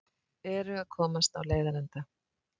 Eru að komast á leiðarenda